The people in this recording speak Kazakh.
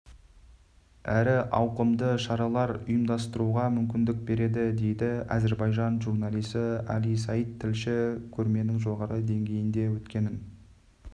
әрі ауқымды шаралар ұйымдастыруға мүмкіндік береді дейді әзербайжан журналисі али саид тілші көрменің жоғары деңгейде өткенін